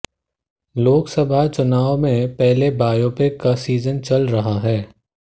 लोक सभा चुनाव से पहले बायोपिक का सीजन चल रहा है